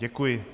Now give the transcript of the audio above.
Děkuji.